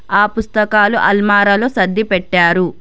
ఆ పుస్తకాలు అల్మారాలో సర్ది పెట్టారు.